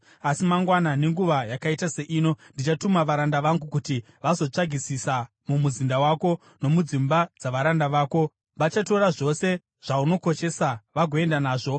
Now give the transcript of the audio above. Asi mangwana nenguva yakaita seino ndichatuma varanda vangu kuti vazotsvagisisa mumuzinda wako nomudzimba dzavaranda vako. Vachatora zvose zvaunokoshesa vagoenda nazvo.’ ”